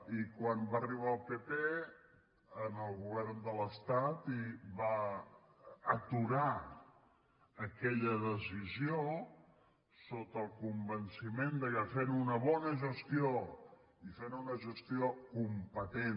i quan va arribar el pp en el govern de l’estat i va aturar aquella decisió sota el convenciment que fent una bona gestió i fent una gestió competent